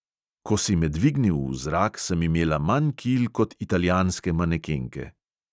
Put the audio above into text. Ko si me dvignil v zrak, sem imela manj kil kot italijanske manekenke.